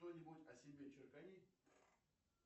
что нибудь о себе черкани